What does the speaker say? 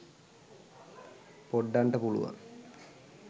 poddanta puluwan